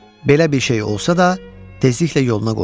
Belə bir şey olsa da, tezliklə yoluna qoyulardı.